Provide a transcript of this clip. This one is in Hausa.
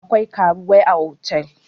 akwai karuwai a otal